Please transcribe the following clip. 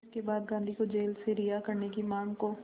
इसके बाद गांधी को जेल से रिहा करने की मांग को